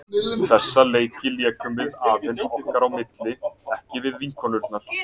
Þessa leiki lékum við aðeins okkar á milli, ekki við vinkonur okkar.